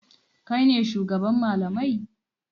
Kai ne shugaban malamai?